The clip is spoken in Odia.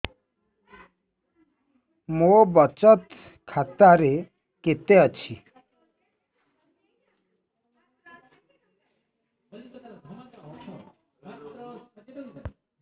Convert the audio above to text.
ମୋ ବଚତ ଖାତା ରେ କେତେ ଅଛି